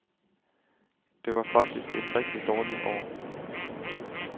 Det var faktisk et rigtig dårligt år.